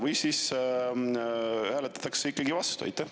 Või siis hääletatakse ikkagi vastu?